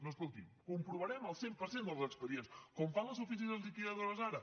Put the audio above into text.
no escolti’m comprovarem el cent per cent dels expedients com fan les oficines liquidadores ara